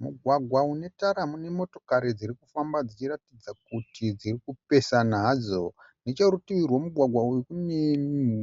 Mugwagwa une tara mune motikari dziri kufamba dzichiratidza kuti dziri kupesana hadzo. Necherutivi rwemugwagwa uyu kune